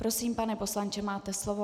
Prosím pane poslanče, máte slovo.